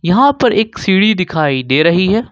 यहां पर एक सीढ़ी दिखाई दे रही है।